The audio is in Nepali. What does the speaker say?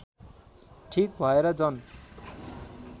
ठीक भएर जन